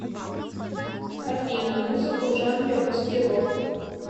афина музыку в жанре русский рок